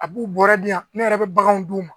A b'u bɔra di yan ne yɛrɛ bɛ baganw d'u ma